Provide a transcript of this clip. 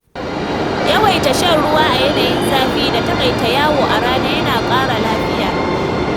Yawaita shan ruwa a yanayin zafi da taƙaita yawo a rana yana ƙara lafiya